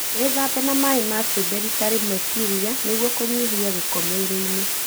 Wĩthambe na maĩ ma cumbĩ rita rĩmwe kiumia nĩguo kũnyihia gĩko mwĩrĩinĩ.